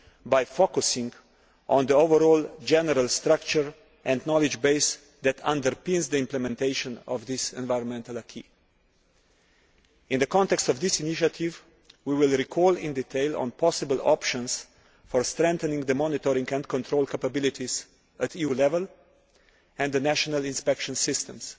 by focusing on the overall general structure and knowledge base that underpins the implementation of this environmental acquis. In the context of this initiative we will recall in detail all possible options for strengthening monitoring and control capabilities at EU level and the national inspection systems.